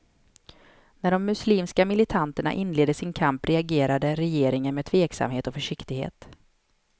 När de muslimska militanterna inledde sin kamp reagerade regeringen med tveksamhet och försiktighet.